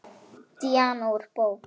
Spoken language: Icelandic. Díana úr bók.